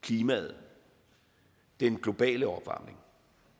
klimaet den globale opvarmning